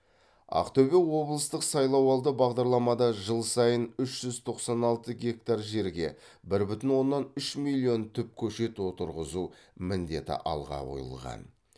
ақтөбе облыстық сайлауалды бағдарламада жыл сайын үш жүз тоқсан алты гектар жерге бір бүтін оннан үш миллион түп көшет отырғызу міндеті алға қойылған